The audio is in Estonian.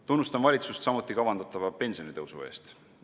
Tunnustan valitsust samuti kavandatava pensionitõusu eest.